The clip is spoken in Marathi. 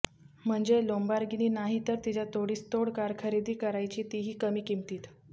म्हणजे लोम्बार्गिनी नाही तर तिच्या तोडीस तोड कार खरेदी करायची तीही कमी किमतीत